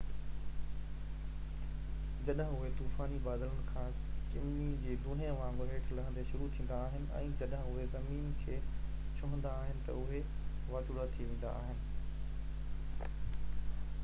جڏهن اهي طوفاني بادلن کان چمني جي دونهي وانگر هيٺ لهندي شروع ٿيندا آهن ۽ جڏهن اهي زمين کي ڇهندا آهن تہ اهي واچوڙا ٿي ويندا آهن